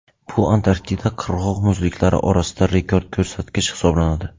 Bu Antarktida qirg‘oq muzliklari orasida rekord ko‘rsatkich hisoblanadi.